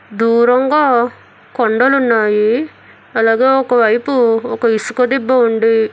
దూరంగా కొండలున్నాయి అలాగే ఒకవైపు ఒక ఇసుక దిబ్బ ఉంది.